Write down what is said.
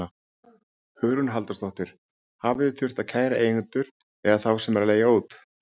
Hugrún Halldórsdóttir: Hafið þið þurft að kæra eigendur eða þá sem eru að leigja út?